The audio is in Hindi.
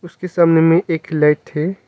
उसके सामने में एक लाइट है।